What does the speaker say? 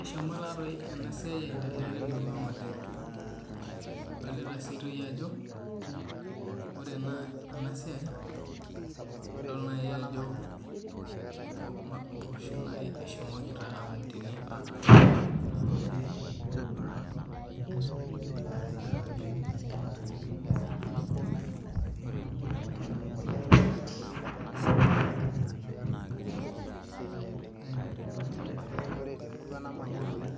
Eshomo ena siai aendelea oleng temurua ang edol sii Ajo ore ena siai edol Ajo mboshok ehomoki aun tene nidol Ajo ehomo iltung'ana